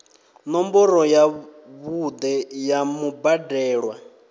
ṋomboro ya vhuṋe ya mubadelwa